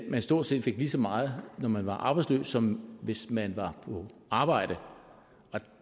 at man stort set fik lige så meget når man var arbejdsløs som hvis man var på arbejde og